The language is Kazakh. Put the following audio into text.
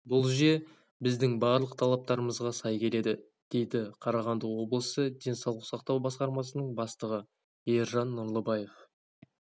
бұл жүйе біздің барлық талаптарымызға сай келеді дейді қарағанды облысы денсаулық сақтау басқармасының бастығы ержан нұрлыбаев